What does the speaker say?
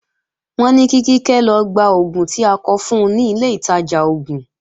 Wọ́n ní kí Kíkẹ́ lọ gba oògùn tí a kọ fun ni ilé ìtajà oògùn